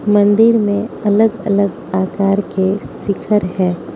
मंदिर में अलग अलग आकार के शिखर है।